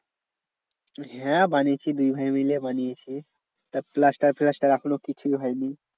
হ্যাঁ বানিয়েছি দুই ভাই মিলে বানিয়েছি। তা plaster ফ্ল্যাস্টার এখনও কিছুই হয় নি।